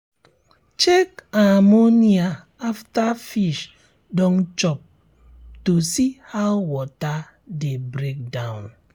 check ammonia after fish don chop to see how water dey break down